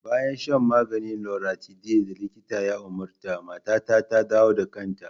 Bayan shan maganin loratiday da likita ya umarta, matata ta dawo da kanta.